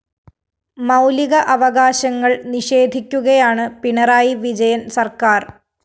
മൗലിക അവകാശങ്ങള്‍ നിഷേധിക്കുകയാണ് പിണറായി വിജയന്‍ സര്‍ക്കാര്‍